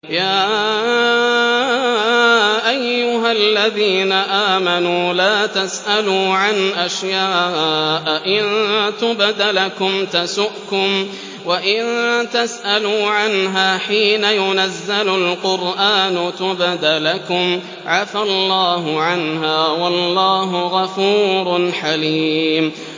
يَا أَيُّهَا الَّذِينَ آمَنُوا لَا تَسْأَلُوا عَنْ أَشْيَاءَ إِن تُبْدَ لَكُمْ تَسُؤْكُمْ وَإِن تَسْأَلُوا عَنْهَا حِينَ يُنَزَّلُ الْقُرْآنُ تُبْدَ لَكُمْ عَفَا اللَّهُ عَنْهَا ۗ وَاللَّهُ غَفُورٌ حَلِيمٌ